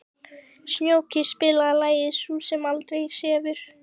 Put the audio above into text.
Snjóki, spilaðu lagið „Sú sem aldrei sefur“.